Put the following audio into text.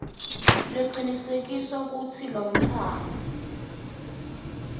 lecinisekisa kutsi lomntfwana